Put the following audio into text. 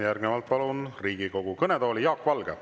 Järgnevalt palun Riigikogu kõnetooli Jaak Valge.